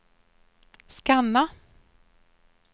scanna